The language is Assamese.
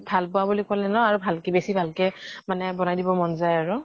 ভাল পাওঁ বুলি কʼলে ন আৰু ভাল কে বেছি ভাল কে মানে বনাই দিব মন যায় আৰু ।